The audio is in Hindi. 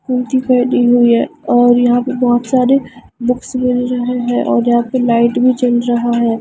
कुर्ती पहनी हुई है और यहां पे बहुत सारे बक्स व् रहे है और यहां पे लाइट भी चल रहा है।